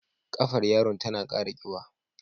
Ƙafar yaron tana kara kiba.